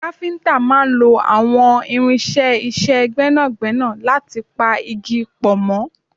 Káfíntà máà ń lo àwọn irinṣẹ́ iṣẹ́ gbẹ́nàgbẹ́nà láti pa igi pọ̀ mọ́